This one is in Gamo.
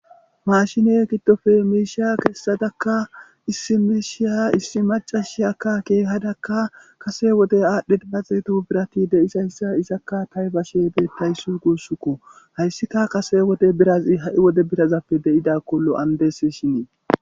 Mashine giddofe meeshiya kessadakka issi meeshiya issi macashi akka keehadakka kase wode aadhdhe daaxeeto birati de'isayssa isakka taybashe beettayss guussuku hayssika kase wode birazi ha'i wode birazappe deida kollo andes shinii.